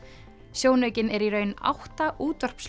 sjónaukinn er í raun átta